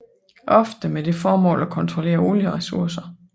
Ofte med det formål at kontrollere olieressourcer